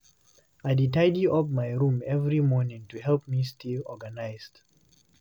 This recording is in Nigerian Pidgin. I dey tidy up my room every morning to help me stay organized.